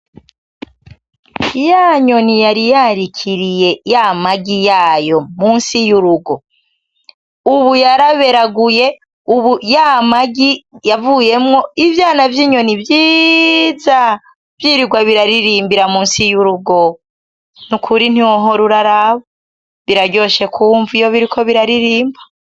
Ya nyoni yari yarikiriye y'amagi yayo musi y'urugo, ubu yaraberaguye, ubu y'amagi yavuyemwo ivyana vy'inyoni vyiza, vyirigwa biraririmbira musi y'urugo, nukuri ntiwohora uraraba, biraryoshe kumva iyo biriko biraririmba.